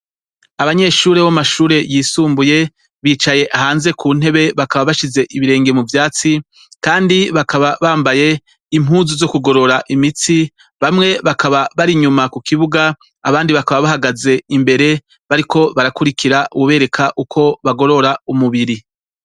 Abanyeshure bo mumashure yisumbuye bicaye hanze kuntebe bakaba bashize ibirenge muvyatsi kandi bakaba bambaye impuzu zo kugorora imitsi Bamwe bakaba bari inyuma kukibuga abandi bakaba bahagaze imbere bariko barakurikira uwubereka uko bagorora umubiri.